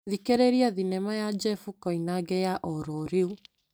Thikĩrĩria thinema ya Njefu Koinange ya ororĩu .